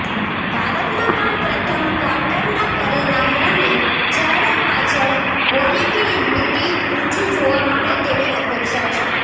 ભારતમાં પણ પ્રથમ ક્વાર્ટરનાં પરિણામોની જાહેરાત પાછળ વોલેટિલિટી ઊંચી જોવા મળે તેવી અપેક્ષા છે